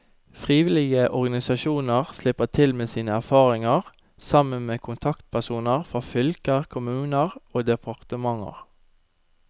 Frivillige organisasjoner slipper til med sine erfaringer, sammen med kontaktpersoner fra fylker, kommuner og departementer.